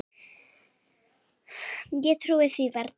Ég trúði því varla.